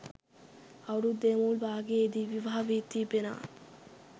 අවුරුද්දේ මුල් භාගයේදී විවාහ වී තිබෙනවා